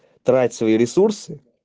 тратить свои ресурсы